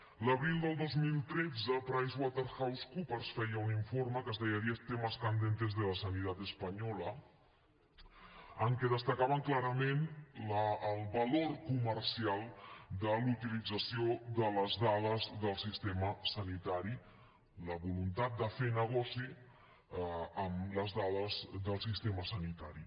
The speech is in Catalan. a l’abril del dos mil tretze pricewaterhousecoopers feia un informe que es deia diez temas candentes de la sanidad española en què destacava clarament el valor comercial de la utilització de les dades del sistema sanitari la voluntat de fer negoci amb les dades del sistema sanitari